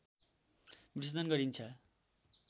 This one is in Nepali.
विसर्जन गरिन्छ